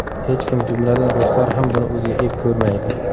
Hech kim, jumladan, ruslar ham buni o‘ziga ep ko‘rmaydi.